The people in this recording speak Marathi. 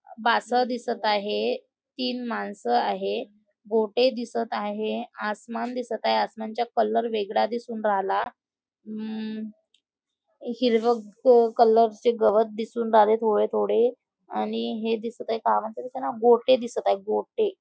बासर दिसत आहे तीन माणसं आहे गोटे दिसत आहे आसमान दिसत आहे आसमानचा कलर वेगळा दिसून राहीला हम्म हिरवे क कलर चे गवत दिसून राहिले थोडे थोडे आणि हे दिसत काय म्हणताते त्याला गोटे दिसत आहे गोटे.